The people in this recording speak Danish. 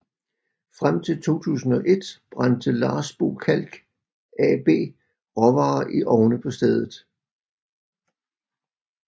Frem til 2001 brændte Larsbo Kalk AB råvarer i ovne på stedet